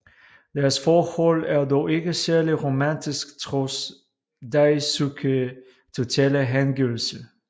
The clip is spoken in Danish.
Deres forhold er dog ikke særlig romantisk trods Daisuke totale hengivelse